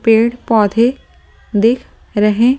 पेड़-पौधे देख रहे हैं ।